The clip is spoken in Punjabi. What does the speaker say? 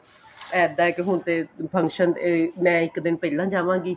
ਇੱਦਾਂ ਏ ਹੁਣ ਤੇ function ਮੈਂ ਇੱਕ ਦਿਨ ਪਹਿਲਾਂ ਜਾਵਾਗੀ